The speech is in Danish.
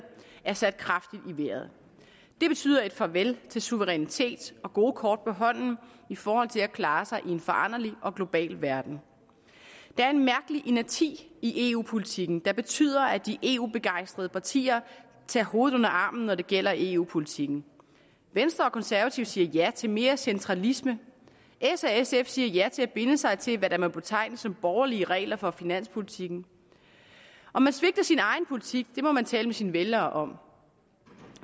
er sat kraftigt i vejret det betyder et farvel til suverænitet og gode kort på hånden i forhold til at klare sig i en foranderlig og global verden der er en mærkelig inerti i eu politikken der betyder at de eu begejstrede partier tager hovedet under armen når det gælder eu politikken venstre og konservative siger ja til mere centralisme s og sf siger ja til at binde sig til hvad der må betegnes som borgerlige regler for finanspolitikken om man svigter sin egen politik må man tale med sine vælgere om